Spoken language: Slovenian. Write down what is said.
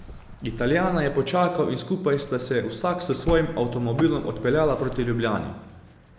Italijana je počakal in skupaj sta se vsak s svojim avtomobilom odpeljala proti Ljubljani.